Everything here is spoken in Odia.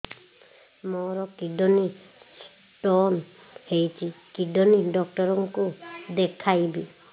ମୋର କିଡନୀ ସ୍ଟୋନ୍ ହେଇଛି କିଡନୀ ଡକ୍ଟର କୁ ଦେଖାଇବି